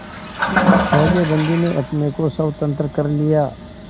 पहले बंदी ने अपने को स्वतंत्र कर लिया